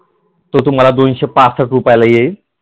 तो तुम्हाला दोनशे पासष्ट रुपयाला येईल.